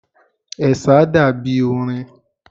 Ẹ̀sà dàbí orin.